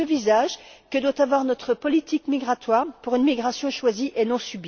C'est ce visage que doit avoir notre politique migratoire, pour une migration choisie et non